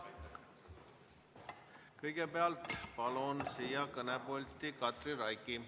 Kõigepealt palun siia kõnepulti Katri Raigi.